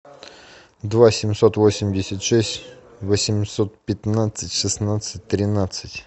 два семьсот восемьдесят шесть восемьсот пятнадцать шестнадцать тринадцать